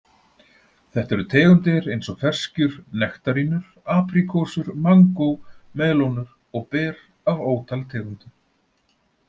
Þetta eru tegundir eins og ferskjur, nektarínur, apríkósur, mangó, melónur og ber af ótal tegundum.